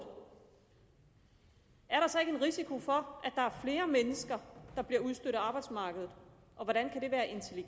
er der så ikke en risiko for at der er flere mennesker der bliver udstødt af arbejdsmarkedet og hvordan